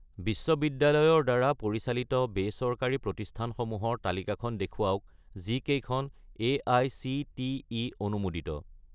বিশ্ববিদ্যালয়ৰ দ্বাৰা পৰিচালিত-বেচৰকাৰী প্ৰতিষ্ঠানসমূহৰ তালিকাখন দেখুৱাওক যিকেইখন এআইচিটিই অনুমোদিত